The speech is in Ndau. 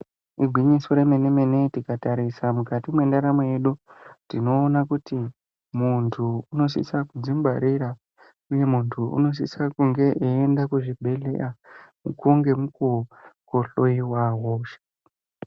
Igwinyiso remene mene tikatarisa mukati mendaramo yedu tinoona kuti Muntu unosisa kudzingwarira uye muntu unosisa kunge eienda kuzvibhedhlera mukuwo nemukuwo kohloiwa hosha.